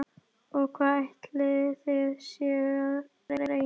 Og hvað ætlið þið séuð að reyna?